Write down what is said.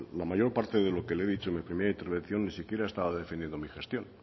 la mayor parte de lo que le he dicho en la primera intervención ni siquiera estaba defendiendo mi gestión